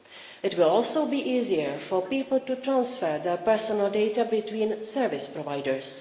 It will also be easier for people to transfer their personal data between service providers.